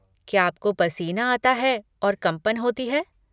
क्या आपको पसीना आता है और कंपन होती है?